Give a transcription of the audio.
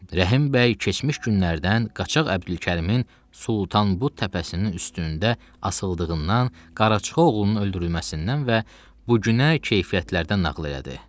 Rəhim bəy keçmiş günlərdən qaçaq Əbdülkərimin Sultanbud təpəsinin üstündə asıldığından, qaraçı oğlunun öldürülməsindən və bu günə keyfiyyətlərdən nağıl elədi.